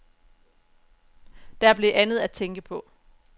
Der blev andet at tænke på.